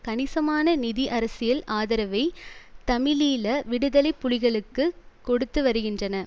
கணிசமான நிதி அரசியல் ஆதரவை தமிழீழ விடுதலை புலிகளுக்கு கொடுத்து வருகின்றன